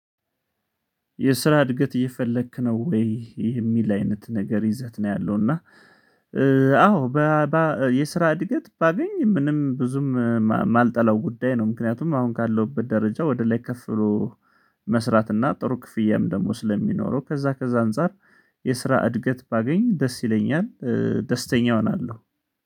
የስራ እድገት እየፈለክ ነው ወይ? የሚል አይነት ነገር ይዘት ነው ያለው እና። አዎ የስራ እድገት ባገኝ ምንም ብዙም የማልጠላው ጉዳይ ነው። ምክንያቱም አሁን ካለሁበት ደረጃ ወደ ላይ ከፍ ብሎ መስራት እና ጥሩ ክፍያም ደግሞ ስለሚኖረው ከዛ ከዛ አንፃር የስራ እድገት ባገኝ ደስ ይለኛል። ደስተኛ እሆናለሁ